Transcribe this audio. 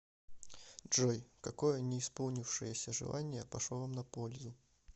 джой какое не исполнившееся желание пошло вам на пользу